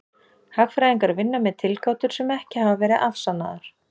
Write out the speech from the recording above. Hagfræðingar vinna með tilgátur sem ekki hafa verið afsannaðar.